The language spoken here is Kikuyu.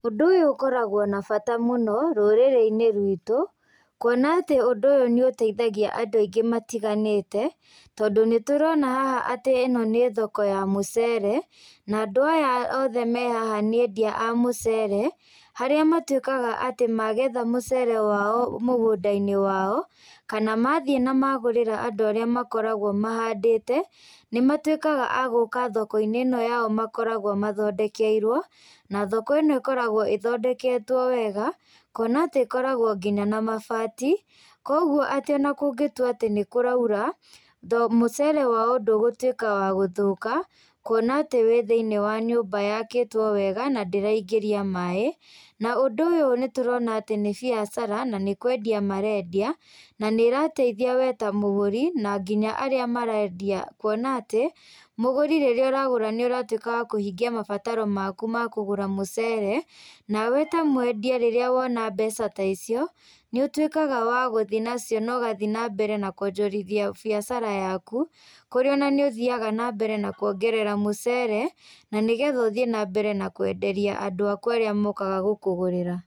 Ũndũ ũkoragwo na bata mũno, rũrĩrĩ-inĩ ruitũ, kuona atĩ ũndũ ũyũ nĩũteithagia andũ aingĩ matiganĩte, tondũ nĩtũrona haha atĩ ĩno nĩ thoko ya mũcere, na andũ aya othe me haha nĩ endia a mũcere, harĩa matuĩkaga atĩ magetha mũcere wao, mũgũndainĩ wao, kana mathiĩ na magũrĩra andũ arĩa makoragwo mahandĩte, nĩmatuĩkaga agũka thokoinĩ ino yao makoragwo mathondekeirwo, na thoko ĩno ĩkoragwo ĩthondeketwo wega, kuona atĩ ĩkoragwo ngĩnya na mabati, koguo atĩ ona kũngĩtua atĩ nĩkũraura, tho mũcere wao ndũgũtuĩka wa gũthũka, kuona atĩ wĩ thiinĩ wa nyũmba yakĩtwo wega, na ndĩraingĩria maĩ, na ũndũ ũyũ nĩtũrona atĩ nĩ biacara, na nĩkwendia marendia, na nĩrateithia we ta mũgũri, na nginya arĩa marendia kuona atĩ, mũgũri rĩrĩa ũragũra nĩũratuĩka wa kũhingĩa mabataro maku ma kũgũra mũcere, nawe ta mwendia rĩrĩa wona mbeca ta icio, nĩũtuĩkaga wa gũthiĩ nacio na ũgathiĩ nambere na kuonjorithia biacara yaku, kũrĩa ona nĩ ũthiaga nambere na kuongerera mũcere, na nĩgetha ũthiĩ nambere na kwenderia andũ akũ arĩa mokaga gũkũgũrĩra.